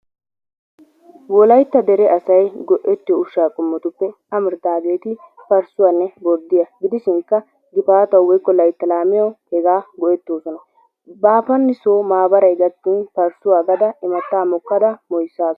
WOLAYTTA DERE ASAY GO'ETTIYO USHAA QOMMOTUPPE AMARIDAAGEETI PARSUWAANNE BORDDIYA GIDISHINKKA GIFAATAWU WOYKKO LAYTTAA LAAMIYAWU HEGAA GO'ETOOSONA. GIFAATANA SO MAABARAY GAKKIN PARSUWA AGADA IMATTAA MOKKADA MOOYISAASU.